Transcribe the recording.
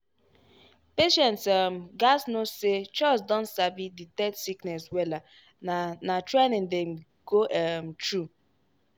patients um gatz know say chws don sabi detect sickness wella na na training dem go um through.